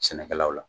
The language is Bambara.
Sɛnɛkɛlaw la